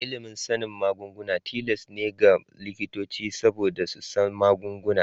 Ilimin sanin magunguna tilas ne ga likitoci saboda su san magunguna.